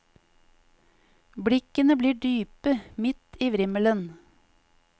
Blikkene blir dype, midt i vrimmelen.